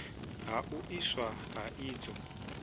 ha u iswa ha idzo